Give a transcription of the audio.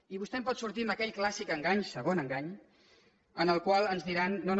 i vostè em pot sortir amb aquell clàssic engany segon engany en el qual ens diran no no